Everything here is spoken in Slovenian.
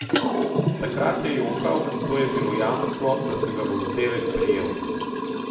Takrat je jokal, in to je bilo jamstvo, da se ga bo vzdevek prijel.